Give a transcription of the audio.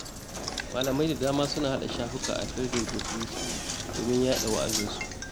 Malamai da dama suna hada shafuka a Fesbuk da Tiwita domin yaɗa wa'azinsu.